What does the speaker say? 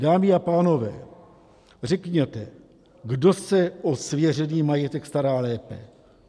Dámy a pánové, řekněte, kdo se o svěřený majetek stará lépe.